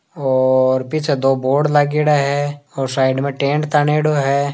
और पीछे दो बोर्ड लाग्योड़ा है और साइड में टेन्ट तान्योडो है।